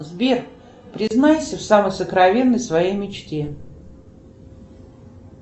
сбер признайся в самой сокровенной своей мечте